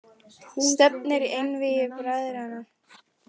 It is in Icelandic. Stefnir í einvígi bræðranna